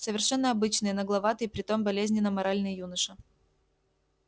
совершенно обычный нагловатый и при том болезненно моральный юноша